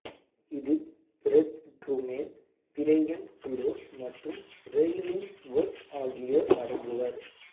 இதில் Fred Trueman Brian Close மற்றும் Ray Illingworth ஆகியோர் அடங்குவர்